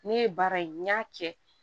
Ne ye baara in n y'a kɛ